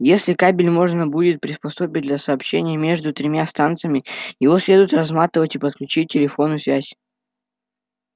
если кабель можно будет приспособить для сообщения между тремя станциями его следует разматывать и подключить телефонную связь